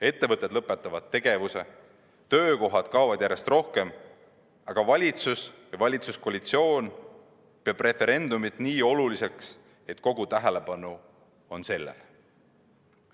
Ettevõtted lõpetavad tegevuse, töökohti kaob järjest rohkem, aga valitsus ja valitsuskoalitsioon peab referendumit nii oluliseks, et kogu tähelepanu on sellel.